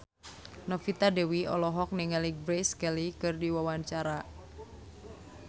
Novita Dewi olohok ningali Grace Kelly keur diwawancara